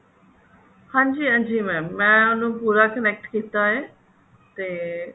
ਹਾਂਜੀ ਹਾਂਜੀ mam ਮੈਂ ਉਹਨੂੰ ਪੂਰਾ connect ਕਿਤਾ ਹੈ ਤੇ